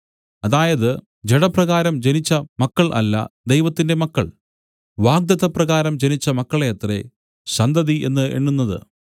അതായത് ജഡപ്രകാരം ജനിച്ച മക്കൾ അല്ല ദൈവത്തിന്റെ മക്കൾ വാഗ്ദത്തപ്രകാരം ജനിച്ച മക്കളെയത്രേ സന്തതി എന്നു എണ്ണുന്നത്